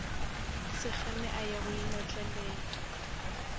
sekgame a ya go inotlelela